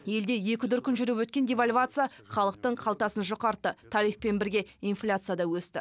елде екі дүркін жүріп өткен девальвация халықтың қалтасын жұқартты тарифпен бірге инфляция да өсті